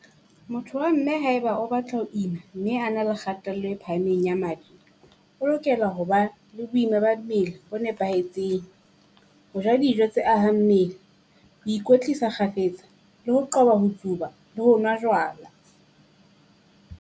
Motho wa mme haeba o batla ho ima mme a na le kgatello e phahameng ya madi, o lokela ho ba le boima ba mmele bo nepahetseng. Ho ja dijo tse ahang mmele ho ikwetlisa kgafetsa le ho qoba ho tsuba le ho nwa jwala.